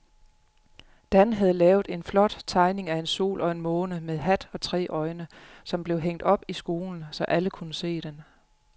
Dan havde lavet en flot tegning af en sol og en måne med hat og tre øjne, som blev hængt op i skolen, så alle kunne se den.